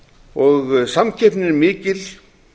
samkeppnin er mikil